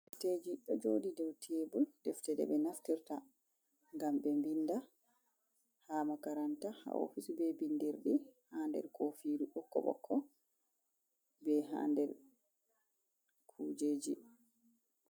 Deffteji do jodi dow tebul deftede be nastirta gam be binnɗa haa makaranta ha office be bindirdi ha der kofiru ɓokko ɓokko be ha der kujeji.